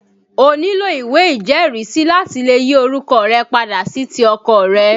O nílò ìwé ìjẹ́rìísí láti lè yí orúkọ rẹ padà sí ti ọkọ rẹ